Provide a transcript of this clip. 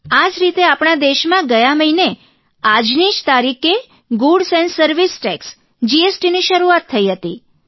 આ જ રીતે આપણા દેશમાં ગયા મહિને આજની જ તારીખે ગુડ્ઝ એન્ડ સર્વિસ ટેકસ જીએસટીની શરૂઆત થઇ હતી